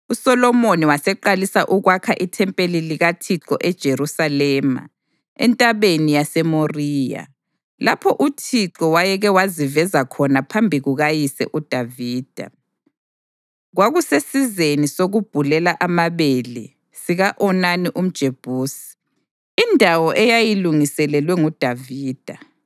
USolomoni waseqalisa ukwakha ithempeli likaThixo eJerusalema eNtabeni yaseMoriya, lapho uThixo wayeke waziveza khona phambi kukayise uDavida. Kwakusesizeni sokubhulela amabele sika-Onani umJebusi, indawo eyayilungiselelwe nguDavida.